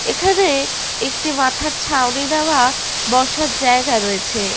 এখানে-এ একটি মাথার ছাউনি দেওয়া বসার জায়গা রয়েছে।